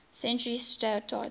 century started